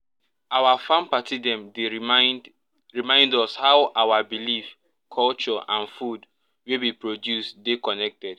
our farm party dem dey remind remind us how our believeculture and food wey we produce dey connected